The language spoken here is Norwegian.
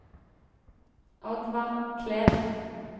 Oddvar Kleven